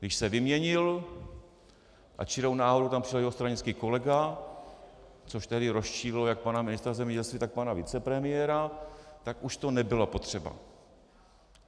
Když se vyměnil a čirou náhodou tam přišel jeho stranický kolega, což tedy rozčililo jak pana ministra zemědělství, tak pana vicepremiéra, tak už to nebylo potřeba.